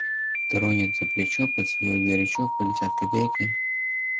тронет за плечо поцелует горячо полетят копейки